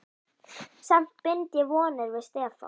Samt bind ég vonir við Stefán.